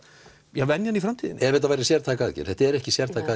venjan í framtíðinni ef þetta verður sértæk aðgerð þetta er ekki sértæk